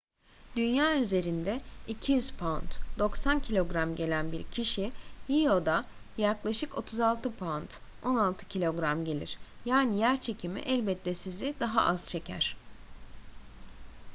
dünya üzerinde 200 pound 90 kg gelen bir kişi io'da yaklaşık 36 pound 16kg gelir. yani yerçekimi elbette sizi daha az çeker